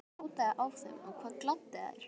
Hvað bjátaði á hjá þeim og hvað gladdi þær?